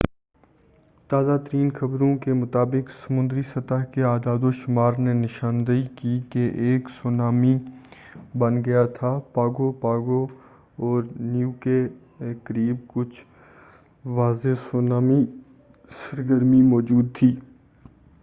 تازہ ترین خبروں کے مطابق سمندری سطح کے اعدادوشُمار نے نشاندہی کی کہ ایک سونامی بن گیا تھا پاگو پاگو اور نیو کے قریب کُچھ واضح سونامی سرگرمی موجود تھی